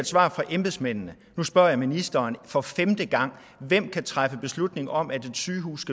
svar fra embedsmændene nu spørger jeg ministeren for femte gang hvem kan træffe beslutning om at et sygehus